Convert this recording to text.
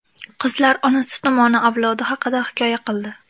Qizlar onasi tomoni avlodi haqida hikoya qildi.